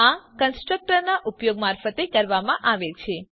આ કન્સ્ટ્રક્ટર ના ઉપયોગ મારફતે કરવામાં આવે છે